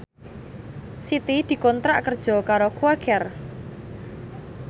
Siti dikontrak kerja karo Quaker